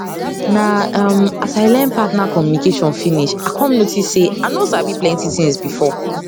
na um as i learn partner communication finish i come notice say i no sabi plenty things before